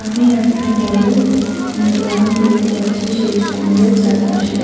আমি একটা বড় গ্রাউন্ড দেখতে পাচ্ছি সেই গ্রাউন্ড এর চারিপাশে।